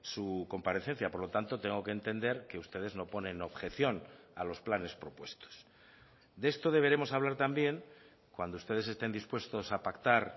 su comparecencia por lo tanto tengo que entender que ustedes no ponen objeción a los planes propuestos de esto deberemos hablar también cuando ustedes estén dispuestos a pactar